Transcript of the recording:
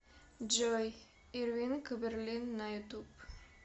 джой ирвинг берлин на ютуб